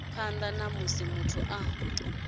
phanḓa ha musi muthu a